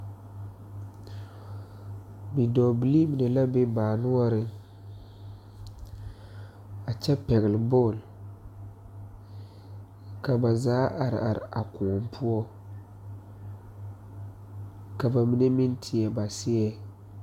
Bidɔɔ bilee mine la be baa noɔre a kyɛ pagle bon, ka ba zaa are are a kõɔ poɔ ,ka ba mine meŋ tiɛ ba seeɛ.